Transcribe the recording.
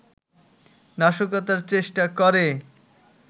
নাশকতার চেষ্টা করে